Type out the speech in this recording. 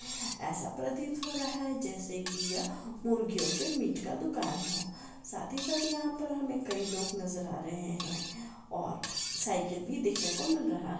ऐसा प्रतीत हो रहा है जैसा कि यह मुर्गियों के मीट का दुकान हो साथ ही साथ यहाँ पर हमें कई लोग नजर आ रहे हैं और साइकिल भी देखने को मिल रहा है।